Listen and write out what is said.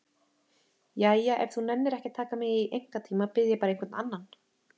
Jæja, ef þú nennir ekki að taka mig í einkatíma bið ég bara einhvern annan.